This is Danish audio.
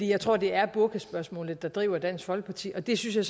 jeg tror det er burkaspørgsmålet der driver dansk folkeparti og det synes jeg